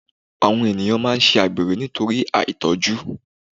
Àwọn ènìyàn máa ń ṣe àgbèrè nítorí àìtọ́jú